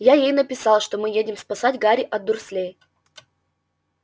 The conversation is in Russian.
я ей написал что мы едем спасать гарри от дурслей